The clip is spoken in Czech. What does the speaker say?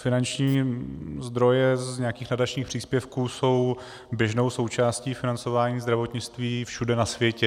Finanční zdroje z nějakých nadačních příspěvků jsou běžnou součástí financování zdravotnictví všude na světě.